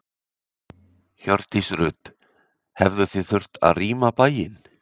Hjördís Rut: Hefðuð þið þurft að rýma bæinn?